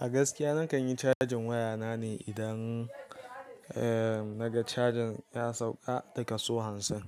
A gaskiya nakan yi cajin waya na ne idan, eh, naga cajin ya sauka da kaso hansin.